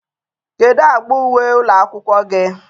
kedu agba uwe ụlọ akwụkwọ gị?